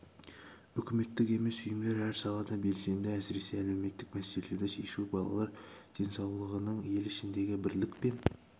үкіметтік емес ұйымдар әр салада белсенді әсіресе әлеуметтік мәселелерді шешу балалар денсаулығының ел ішіндегі бірлік пен